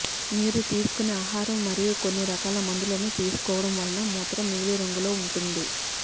మీరు తీసుకునే ఆహారం మరియు కొన్ని రకాల మందులను తీసుకోవడం వలన మూత్రం నీలిరంగులో ఉంటుంది